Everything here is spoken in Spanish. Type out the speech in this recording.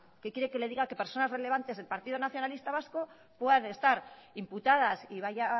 qué quiere que le diga que personas relevantes del partido nacionalista vasco puedan estar imputadas y vaya